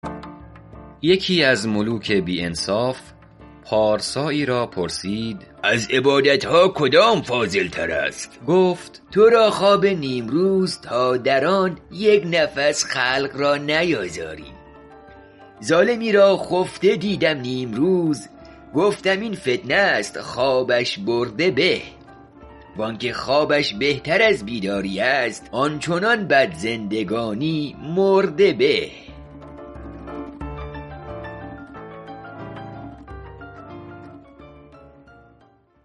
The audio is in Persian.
یکی از ملوک بی انصاف پارسایی را پرسید از عبادت ها کدام فاضل تر است گفت تو را خواب نیمروز تا در آن یک نفس خلق را نیازاری ظالمی را خفته دیدم نیمروز گفتم این فتنه است خوابش برده به وآنکه خوابش بهتر از بیداری است آن چنان بد زندگانی مرده به